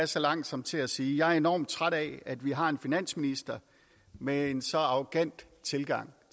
så langt som til at sige jeg er enormt træt af at vi har en finansminister med en så arrogant tilgang